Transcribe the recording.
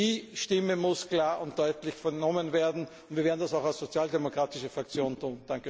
Die Stimme muss klar und deutlich vernommen werden, und wir werden das auch als Sozialdemokratische Fraktion tun.